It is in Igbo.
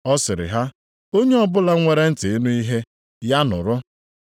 Ọ sịrị ha, “Onye ọbụla nwere ntị ịnụ ihe, ya nụrụ.”